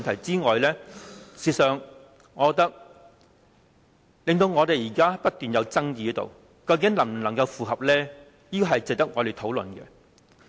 "此外，除了這兩個點，我們現在不斷在爭議，究竟它能否符合《基本法》呢？